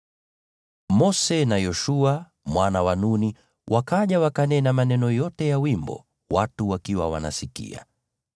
Mose na Yoshua mwana wa Nuni wakaja, wakanena maneno yote ya wimbo watu wakiwa wanasikia.